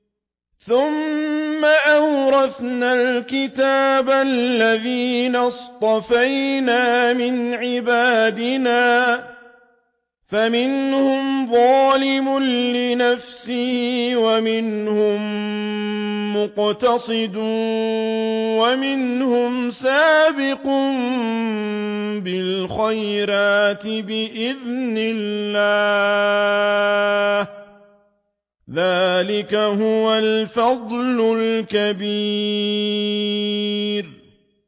ثُمَّ أَوْرَثْنَا الْكِتَابَ الَّذِينَ اصْطَفَيْنَا مِنْ عِبَادِنَا ۖ فَمِنْهُمْ ظَالِمٌ لِّنَفْسِهِ وَمِنْهُم مُّقْتَصِدٌ وَمِنْهُمْ سَابِقٌ بِالْخَيْرَاتِ بِإِذْنِ اللَّهِ ۚ ذَٰلِكَ هُوَ الْفَضْلُ الْكَبِيرُ